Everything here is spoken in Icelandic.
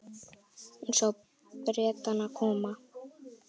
Hún sá Bretana koma.